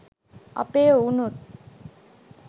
අපේ එවුනුත්